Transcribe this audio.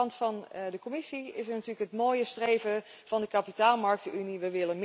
Aan de kant van de Commissie is er natuurlijk het mooie streven van de kapitaalmarktenunie.